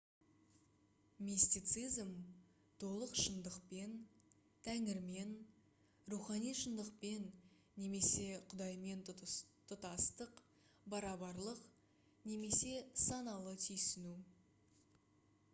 мистицизм толық шындықпен тәңірмен рухани шындықпен немесе құдаймен тұтастық барабарлық немесе саналы түйсіну